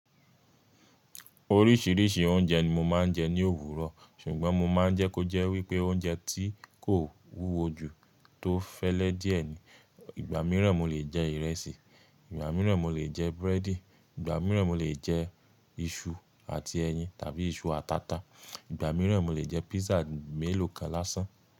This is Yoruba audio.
Oríṣiríṣi oúnjẹ ni mo máa ń jẹ ní òwúrọ̀, ṣùgbọ́n mo máa ń jẹ́ kó jẹ́ wípé oúnjẹ tí kò wúwo ju tó fẹ́lẹ́ díẹ̀ ni. Ìgbà mìíràn mo lè jẹ ìrẹsì, ìgbà mìíràn mo lè jẹ búrẹ́dì, ìgbà mìíràn mo lè jẹ iṣu àti ẹyin tàbí iṣu àti ata, ìgbà mìíràn mo lè jẹ pizza mélòó kan lásán.